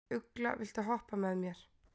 Ugla, viltu hoppa með mér?